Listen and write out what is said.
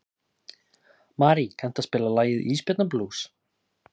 Marí, kanntu að spila lagið „Ísbjarnarblús“?